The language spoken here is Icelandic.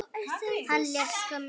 Hann lést skömmu seinna.